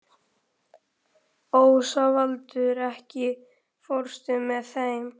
Ósvaldur, ekki fórstu með þeim?